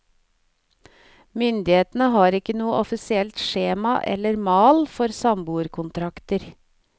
Myndighetene har ikke noe offisielt skjema eller mal for samboerkontrakter.